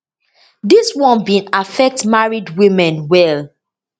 dis one bin affect married women well